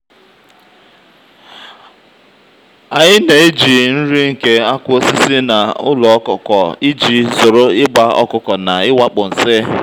anyị na-eji nri nke akụ osisi na ụlọ ọkụkọ iji um zoro ịgba ọkụkọ na iwakpu nsi.